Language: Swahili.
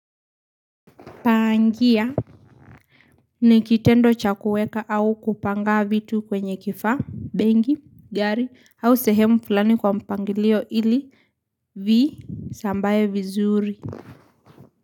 Pangia ni kitendo cha kuweka au kupanga vitu kwenye kifaa, benki, gari au sehemu fulani kwa mpangilio ili viisambae vizuri.